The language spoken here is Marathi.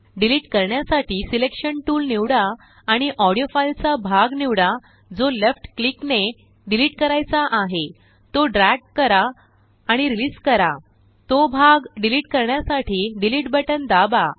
डिलीट करण्यासाठी सिलेक्शन टूल निवडा आणि ऑडीओफाईलचा भाग निवडा जो लेफ्ट क्लिकने डिलीट करायचा आहे तो ड्रॅग कराआणि रिलीस करा तो भागडिलीट करण्यासाठी डिलीट बटन दाबा